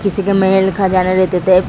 किसी का मेल लिखा जा रहा है। --